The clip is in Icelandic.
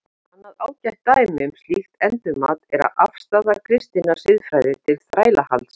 Annað ágætt dæmi um slíkt endurmat er afstaða kristinnar siðfræði til þrælahalds.